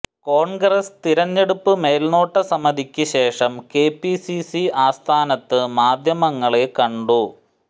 കോൺഗ്രസ് തിരഞ്ഞെടുപ്പ് മേൽനോട്ട സമിതിക്ക് ശേഷം കെപിസിസി ആസ്ഥാനത്ത് മാധ്യമങ്ങളെ കണ്ടു